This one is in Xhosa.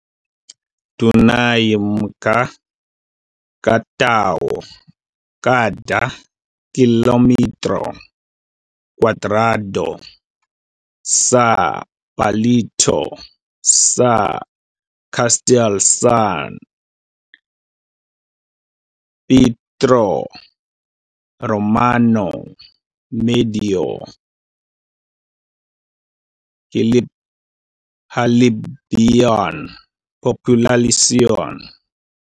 Dunay mga ka tawo kada kilometro kwadrado sa palibot sa Castel San Pietro Romano medyo hilabihan populasyon.